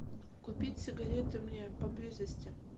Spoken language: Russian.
купить сигареты мне поблизости